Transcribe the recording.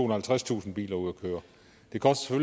og halvtredstusind biler ud at køre det koster